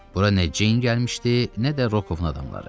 Bura nə Ceyn gəlmişdi, nə də Rokovun adamları.